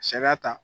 Sariya ta